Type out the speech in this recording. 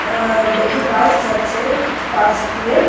এ একটি বাস যাচ্ছে পাশ দিয়ে ।